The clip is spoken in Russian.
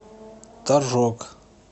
торжок